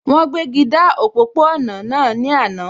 Wọ́n gbéji dá òpópó-ọ̀nà náà ní àná